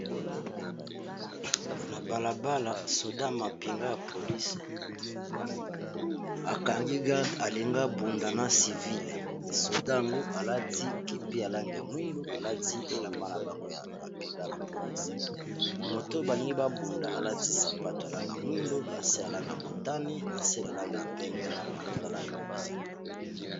Na balabala soda mapinga ya polise akangi garde alinga bunda na civile soda ngu alati kepi alange ya mwindu, alati elamba na bango ya bapinga ya polise moto balingi babunda alati sapato alangya mwindu lase alanga motane ,na sel alange ya pembe, na pantala langa ya bozinga.